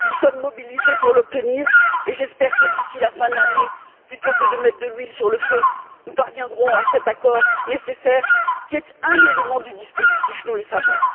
Nous sommes mobilisés pour l'obtenir et j'espère que, d'ici la fin de l'année, plutôt que de mettre de l'huile sur le feu, nous parviendrons à cet accord nécessaire, qui est un élément du dispositif, nous le savons.